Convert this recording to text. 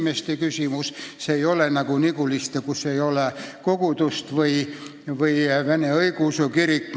See puudutab koguduse liikmeid, see ei ole nagu Niguliste, kus ei ole kogudust, või õigeusu kirik, mille nominaalsed varad asuvad ka Petserimaal.